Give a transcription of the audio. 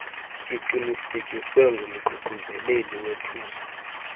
iqinisekiswe ngumququzeleli wethuso